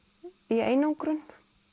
í einangrun